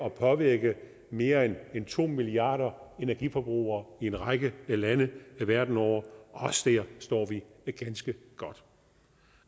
at påvirke mere end to milliarder energiforbrugere i en række lande verden over også der står vi ganske